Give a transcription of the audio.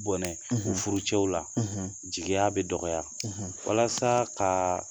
Bɔnɛ u furucɛw la, jeliya bɛ dɔgɔya, walasa ka